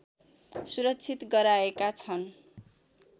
सुरक्षित गराएका छन्